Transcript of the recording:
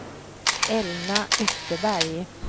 Elna Österberg